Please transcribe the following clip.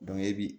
e bi